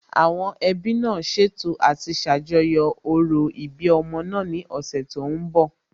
Àwọn ẹbí náà ṣètò àti ṣàjọyọ̀ òro ìbí ọmọ náà ní ọ̀sẹ̀ tó ń bọ̀